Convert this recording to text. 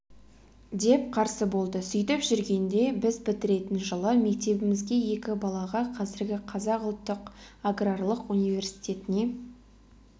деп қарсы болды сөйтіп жүргенде біз бітіретін жылы мектебімізге екі балаға қазіргі қазақ ұлттық аграрлық университетіне